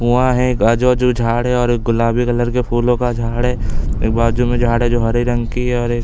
कुआँ है बाजु-वाजु झाड़ है और एक गुलाबी कलर के फूलो का झाड़ है एक बाजू में झाड़ है जो हरे रंग की है और एक--